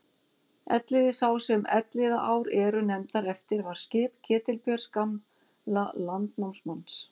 Elliði sá sem Elliðaár eru nefndar eftir var skip Ketilbjörns gamla landnámsmanns.